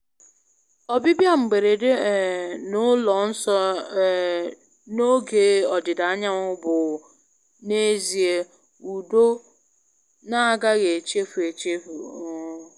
Ọbịbịa mberede um na ụlọ nsọ um n'oge ọdịda anyanwụ bụ n'ezie udo na-agaghị echefu echefu. um